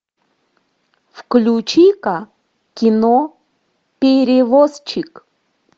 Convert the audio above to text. включи ка кино перевозчик